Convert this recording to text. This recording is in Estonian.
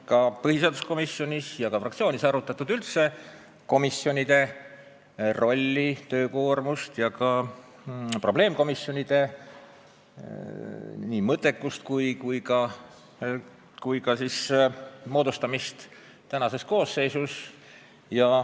Ka põhiseaduskomisjonis ja fraktsioonides on arutatud üldse komisjonide rolli ja töökoormust, sh ka probleemkomisjonide mõttekust ja moodustamist praeguses koosseisus.